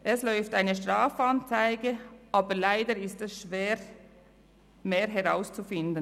Es läuft eine Strafanzeige, aber leider ist es schwer, mehr herauszufinden.